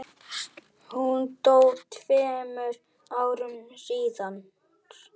Hún dó tveimur árum síðar.